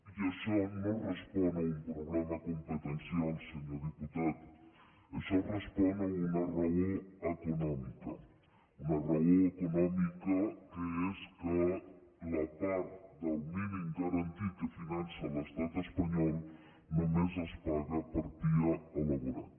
i això no respon a un problema competencial senyor diputat això respon a una raó econòmica una raó econòmica que és que la part del mínim garantit que finança l’estat espanyol només es paga per pia elaborat